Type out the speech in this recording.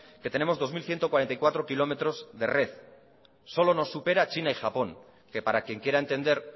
que tenemos dos mil ciento cuarenta y cuatro kilómetros de red solo nos supera china y japón que para quien quiera entender